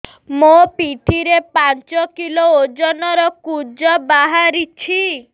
ମୋ ପିଠି ରେ ପାଞ୍ଚ କିଲୋ ଓଜନ ର କୁଜ ବାହାରିଛି